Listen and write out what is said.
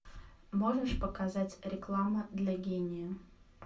можешь показать реклама для гения